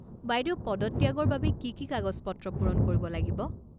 বাইদেউ পদত্যাগৰ বাবে কি কি কাগজ পত্ৰ পূৰণ কৰিব লাগিব?